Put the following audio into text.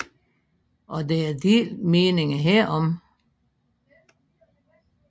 Og der er delte meninger herom